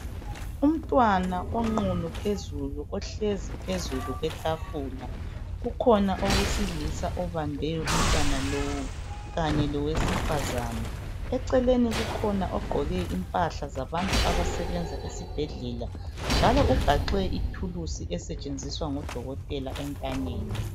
Umntwana onqunu phezulu uhlezi phezulu kwetafula ukhona owesilisa obambe umntwana lowu kanye lowesifazana. Eceleni kukhona ogqoke impahla zabantu abasebenza esibhedlela njalo ugaxe ithulusi esetshenziswa ngudokotela entanyeni.